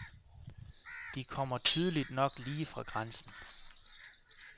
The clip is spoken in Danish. De kommer tydeligt nok lige fra grænsen.